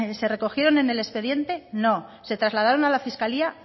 se recogieron en el expediente no se trasladaron a la fiscalía